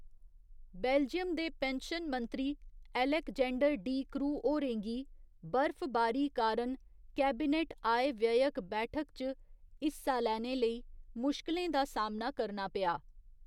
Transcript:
Belgium दे pension मंत्री Alexander De Croo होरें गी बर्फबारी कारण कैबिनेट आय व्ययक बैठक च हिस्सा लैने लेई मुश्किलें दा सामना करना पेआ।